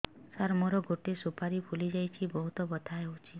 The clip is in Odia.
ସାର ମୋର ଗୋଟେ ସୁପାରୀ ଫୁଲିଯାଇଛି ବହୁତ ବଥା ହଉଛି